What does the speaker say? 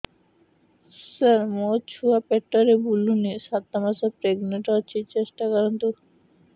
ସାର ମୋର ଛୁଆ ପେଟରେ ବୁଲୁନି ସାତ ମାସ ପ୍ରେଗନାଂଟ ଅଛି ଟେଷ୍ଟ କରନ୍ତୁ